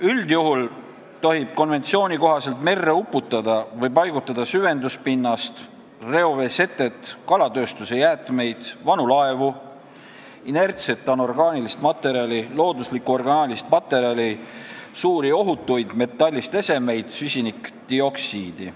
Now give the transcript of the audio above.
Üldjuhul tohib konventsiooni kohaselt merre uputada või paigutada süvenduspinnast, reoveesetet, kalatööstuse jäätmeid, vanu laevu, inertset anorgaanilist materjali, looduslikku orgaanilist materjali, suuri ohutuid metallist esemeid ja süsinikdioksiidi.